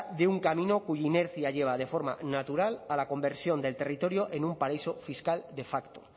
de un camino cuya inercia lleva de forma natural a la conversión del territorio en un paraíso fiscal de facto